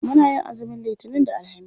Muna yin azumin Litinin da Alhamis.